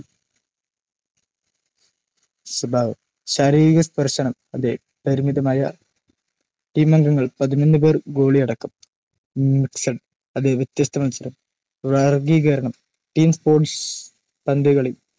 സ്വഭാവം ശാരീരിക സ്പർശനം അതെ പരിമിതമായ ടീമംഗങ്ങൾ പതിനൊന്നു പേർ ഗോളി അടക്കം mixed അതെ വ്യത്യസ്‌ത മത്സരം വർഗീകരണം ടീം സ്പോർട്സ് പന്തുകളി